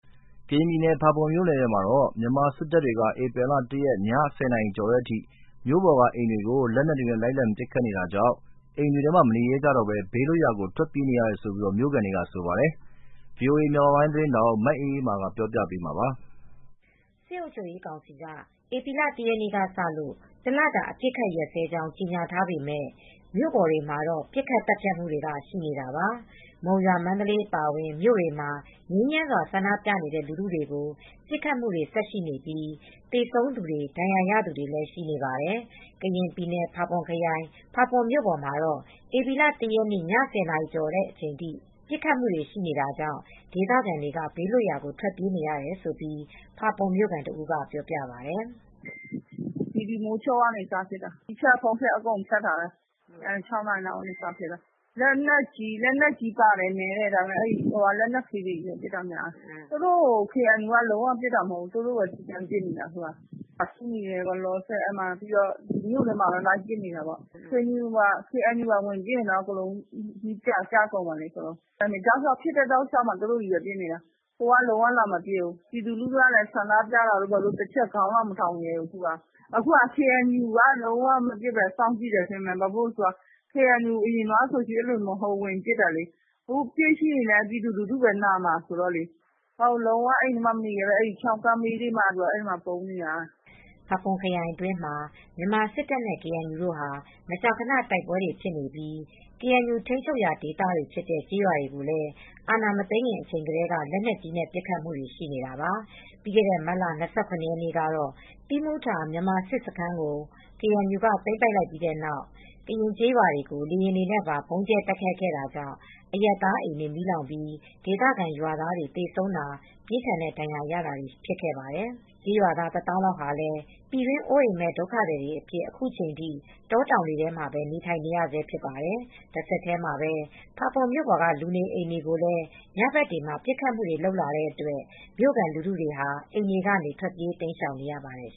ကရင်ပြည်နယ် ဖာပွန်မြို့နယ်ထဲမှာ မြန်မာ စစ်အုပ်ချုပ်ရေးကောင်စီ တပ်တွေက ဧပြီလ ၁ရက်နေ့ ည၁၀နာရီကျော်တဲ့အထိ မြို့ပေါ်က အိမ်တွေကို လက်နက်တွေနဲ့ လိုက်လံပစ်ခတ်နေတာကြောင့် အိမ်တွေမှာ မနေရဲတော့ပဲ ဘေးလွတ်ရာကို ထွက်ပြေးနေရတယ်လို့ မြို့ခံတွေက ဆိုပါတယ်။ ဗွီအိုအေမြန်မာပိုင်းသတင်းထောက် မအေးအေးမာက ပြောပြပေးမှာပါ။ စစ်အုပ်ချုပ်ရေးကောင်စီက ဧပြီလ ၁ရက်ကစလို့ တလတာ အပစ်အခတ်ရပ်စဲကြောင်း ကြေညာထားပေမယ့် မြို့ပေါ်မှာတော့ ပစ်ခတ်သတ်ဖြတ်မူတွေက ရှိနေတာပါ။ မုံရွာ ၊ မန္တလေး အပါအဝင်မြို့တွေမှာ ငြိမ်းချမ်းစွာ ဆန္ဒပြနေတဲ့ လူထုတွေကို ပစ်ခတ်မူတွေဆက်ရှိနေပြီး သေဆုံးသူတွေ ဒဏ်ရာရသူတွေလည်း ရှိနေပါတယ်။ ကရင်ပြည်နယ် ၊ ဖာပွန်ခရိုင်၊ ဖာပွန်မြို့ပေါ်မှာတော့ ဧပြီလ ၁ရက်နေ့ ည ၁၀နာရီကျော်အထိ ပစ်ခတ်မူတွေ ရှိနေတာကြောင့် ဒေသခံတွေ ဘေးလွတ်ရာကို ထွက်ပြေးနေရတယ်လို့ ဖာပွန်မြို့ခံတဦးက ပြောပြပါတယ်။ “မိုးချုပ်တာနဲ့ စပစ်နေတာ။ မီးဖြတ် ၊ အင်တာနက်လိုင်းဖြတ်တွေလည်း အကုန်လုပ်ထားတယ် ။ ၆နာရီလောက်ကနေ စပစ်တာ၊ လက်နက်ကြီးလည်းပါတယ်။ ဒါပေမယ့်နည်းတယ် လက်နက်ငယ်တွေနဲ့ ပစ်နေတာများတယ်။ သူတို့ကို ကေအန်ယူက လုံးဝပစ်နေတာ မဟုတ်ဘူး၊ သူတို့ပဲ ပစ်နေတာ ။ အခုကလောလောဆည်မြို့ထဲမှာပဲ လိုက်ပစ်နေတာ ကေအန်ယူ ပါဝင် ပစ်ရင်တော့ အကုန်လုံးပြာကျကုန်မှာပဲ။ တောက်လျှောက် သူတို့ပဲ ပစ်နေတာ ၊ ကေအန်ယူဘက်ကလာမပစ်ဘူး။ ပြည်သူလူထုလည်း ဆန္ဒပြတာတို့ဘာတို့ ခေါင်းတောင်မထောင်ရဲဘူး။ အခုက ကေအန်ယူက လုံးဝမပစ်ပဲ စောင့်ကြည့်တယ် ထင်တယ်။ ဘာကြောင့်လဲဆိုတော့ အရင်တုန်းကဆို ကေအန်ယူကဝင်ပစ်တာရှိတယ်။ အခုပစ်ရင်တော့လည်း ပြည်သူလူထုပဲ နာမယ်ဆိုတော့လေ။ အခုဆိုရင်လုံး၀ အိမ်ထဲမှာမနေရဲပဲ ချောင်းကမ်းဘေးတွေမှာပုန်းနေရတယ်။” ဖာပွန်ခရိုင်အတွင်းမှာ မြန်မာစစ်တပ်နဲ့ ကေအန်ယူတို့ဟာ မကြာခဏ တိုက်ပွဲတွေဖြစ်ပြီး ကေအန်ယူ ထိန်းချုပ်ရာဒေသမှာရှိတဲ့ ကျေးရွာတွေကိုလည်း အာဏာမသိမ်းခင်အချိန်ကတည်းက လက်နက်ကြီးနဲ့ ပစ်ခတ်မူတွေရှိနေတာပါ။ ပြီးခဲ့တဲ့ မတ်လ ၂၇ ရက်နေ့ကတော့ သီးမူထာ မြန်မာစစ်တပ်စခန်းကို KNUက သိမ်းပိုက်လိုက်ပြီးတဲ့နောက် ကရင်ကျေးရွာတွေကို လေယာဉ်တွေနဲ့ပါ ဗုံးကြဲတိုက်ခိုက်ခဲ့တာကြောင့် အရပ်သားအိမ်တွေ မီးလောင်ပြီး ဒေသခံရွာသားတွေ သေဆုံးတာ ပြင်းထန်တဲ့ဒဏ်ရာတွေ ရရှိခဲ့ပါတယ်။ ကျေးရွာသားတွေ တသောင်းလောက်ဟာ ပြည်တွင်းအိုးအိမ်မဲ့ ဒုက္ခသည်တွေ အဖြစ် အခုချိန်ထိ တောတောင်တွေထဲမှာပဲ နေထိုင်နေရဆဲဖြစ်ပါတယ်။ တဆက်တည်းမှာပဲ ဖာပွန်မြို့ပေါ်က လူနေအိမ်တွေကိုလည်း ညဘက်တွေမှာပစ်ခတ်မူတွေ လုပ်လာတဲ့အတွက်မြို့ခံ လူထုတွေဟာ အိမ်တွေကနေ ထွက်ပြေးတိမ်းရှောင်နေရပါတယ်